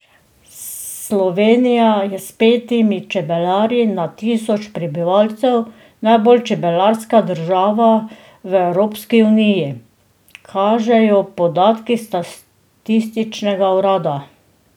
Slovenija je s petimi čebelarji na tisoč prebivalcev najbolj čebelarska država v Evropski uniji, kažejo podatki statističnega urada.